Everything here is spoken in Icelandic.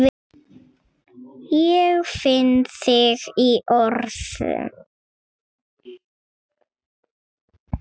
Ég finn þig í orðinu.